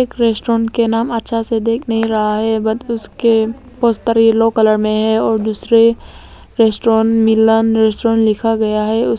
एक रेस्टोरेंट के नाम अच्छा से दिख नहीं रहा है बट उसके पोस्टर येलो कलर में है और दूसरे रेस्टोरेंट मिलन रेस्टोरेंट लिखा गया है उस--